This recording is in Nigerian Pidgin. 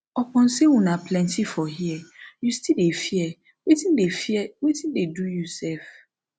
upon say una plenty for here you still dey fear wetin dey fear wetin dey do you sef